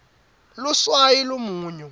luswayi lumunyu